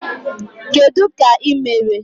Kedụ ka imere?